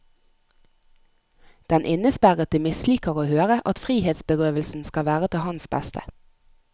Den innesperrede misliker å høre at frihetsberøvelsen skal være til hans beste.